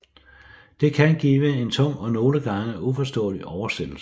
Det kan give en tung og nogle gange uforståelig oversættelse